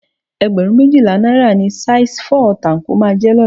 Ẹgbẹ̀rún méjìlá náírà ni saisi fọ́ọ̀ táńkò máa jẹ́ lọ́la